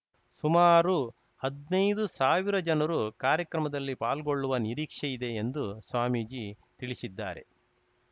ಸುಮಾರು ಹದ್ನೈದುಸಾವಿರ ಜನರು ಕಾರ್ಯಕ್ರಮದಲ್ಲಿ ಪಾಲ್ಗೊಳ್ಳುವ ನಿರೀಕ್ಷೆಯಿದೆ ಎಂದು ಸ್ವಾಮೀಜಿ ತಿಳಿಸಿದ್ದಾರೆ